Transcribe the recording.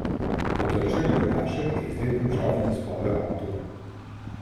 Po trčenju v jašek je izlet končal in zaspal v avtu.